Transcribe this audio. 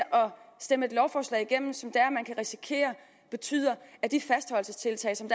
stemme et lovforslag igennem som betyder at de fastholdelsestiltag som